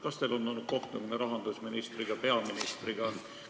Kas teil on olnud kohtumine rahandusministriga või peaministriga?